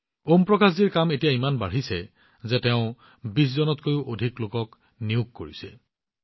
ওম প্ৰকাশজীৰ কাম এতিয়া ইমান বাঢ়িছে যে তেওঁ ২০জনতকৈও অধিক লোকক নিয়োগ কৰিছে